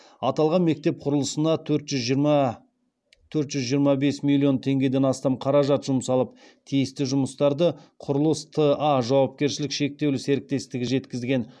аталған мектеп құрылысына төрт жүз жиырма бес миллион теңгеден астам қаражат жұмсалып тиісті жұмыстарды құрылыс т а жауапкершілігі шектеулі серіктестігі жүргізген